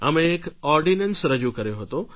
અમે એક ઑર્ડીનન્સ રજૂ કર્યો હતો